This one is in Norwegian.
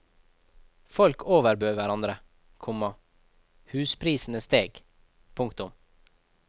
Folk overbød hverandre, komma husprisene steg. punktum